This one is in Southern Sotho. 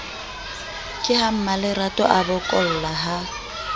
ke ha mmalerato abokolla ha